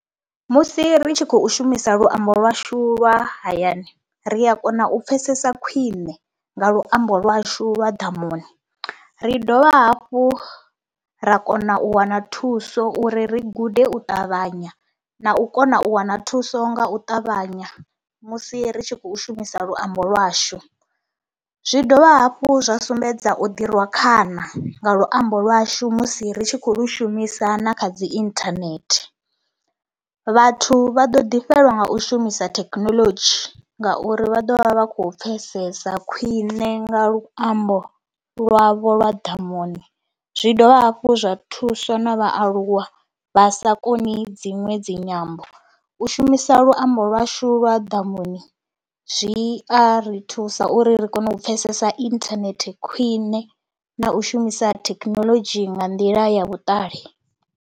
Musi ri tshi khou shumisa luambo lwashu lwa hayani ri a kona u pfhesesa khwiṋe nga luambo lwashu lwa ḓamuni, ri dovha hafhu ra kona u wana thuso uri ri gude u ṱavhanya na u kona u wana thuso nga u ṱavhanya musi ri tshi khou shumisa luambo lwashu. Zwi dovha hafhu zwa sumbedza u ḓi rwa khana nga luambo lwashu musi ri tshi khou lu shumisa na kha dzi inthanethe, vhathu vha ḓo ḓifhelwa nga u shumisa thekinoḽodzhi ngauri vha ḓo vha vha khou pfhesesa khwiṋe nga luambo lwavho lwa ḓamuni. Zwi dovha hafhu zwa thusa na vhaaluwa vha sa koni dziṅwe dzi nyambo, u shumisa luambo lwashu lwa ḓamuni zwi a ri thusa uri ri kone u pfhesesa inthanethe khwine na u shumisa thekinoḽodzhi nga nḓila ya vhuṱali.